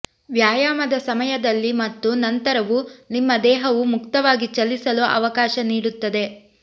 ವ್ಯಾಯಾಮದ ಸಮಯದಲ್ಲಿ ಮತ್ತು ನಂತರವೂ ನಿಮ್ಮ ದೇಹವು ಮುಕ್ತವಾಗಿ ಚಲಿಸಲು ಅವಕಾಶ ನೀಡುತ್ತದೆ